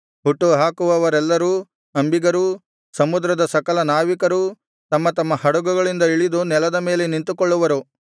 ಹುಟ್ಟುಹಾಕುವವರೆಲ್ಲರೂ ಅಂಬಿಗರೂ ಸಮುದ್ರದ ಸಕಲ ನಾವಿಕರೂ ತಮ್ಮ ತಮ್ಮ ಹಡಗುಗಳಿಂದ ಇಳಿದು ನೆಲದ ಮೇಲೆ ನಿಂತುಕೊಳ್ಳುವರು